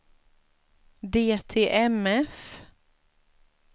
DTMF